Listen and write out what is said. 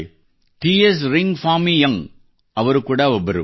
T S ರಿಂಗ್ ಫಾಮೀ ಯಂಗ್ ಅವರು ಕೂಡಾ ಒಬ್ಬರು